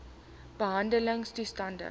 behandeltoestande